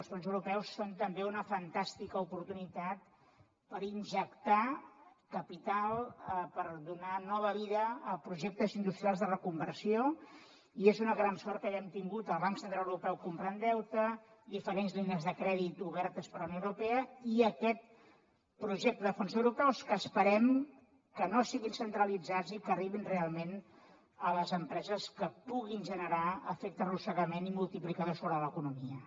els fons europeus són també una fantàstica oportunitat per injectar capital per donar nova vida a projectes industrials de reconversió i és una gran sort que haguem tingut el banc central europeu comprant deute diferents línies de crèdit obertes per la unió europea i aquest projecte de fons europeus que esperem que no siguin centralitzats i que arribin realment a les empreses que puguin generar efecte arrossegament i multiplicador sobre l’economia